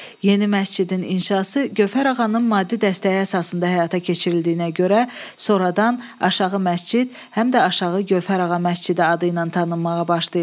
Yeni məscidin inşası Gövhər ağanın maddi dəstəyi əsasında həyata keçirildiyinə görə sonradan aşağı məscid, həm də aşağı Gövhər ağa məscidi adı ilə tanınmağa başlayıb.